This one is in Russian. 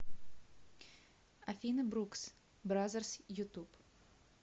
афина брукс бразерс ютуб